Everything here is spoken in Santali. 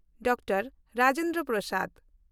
ᱰᱟᱠᱛᱚᱨ ᱨᱟᱡᱮᱱᱫᱨᱚ ᱯᱨᱟᱥᱟᱫᱽ